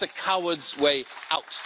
that's the coward's way out.